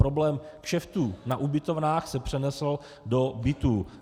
Problém kšeftů na ubytovnách se přenesl do bytů.